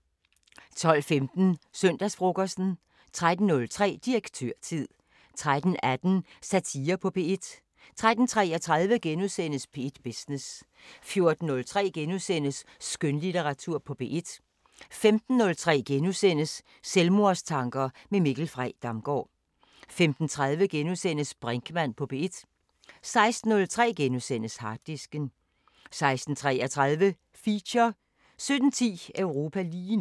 12:15: Søndagsfrokosten 13:03: Direktørtid 13:18: Satire på P1 13:33: P1 Business * 14:03: Skønlitteratur på P1 * 15:03: Selvmordstanker med Mikkel Frey Damgaard * 15:30: Brinkmann på P1 * 16:03: Harddisken * 16:33: Feature 17:10: Europa lige nu